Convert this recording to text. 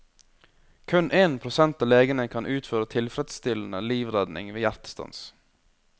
Kun én prosent av legene kan utføre tilfredsstillende livredning ved hjertestans.